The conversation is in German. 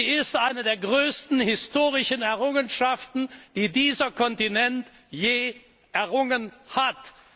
Sie ist eine der größten historischen Errungenschaften, die dieser Kontinent je errungen hat.